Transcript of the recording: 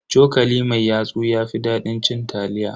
Cokali mai yatsu ya fi dadin cin taliya.